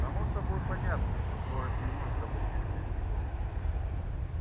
само собой понятно что город не может обойтись без него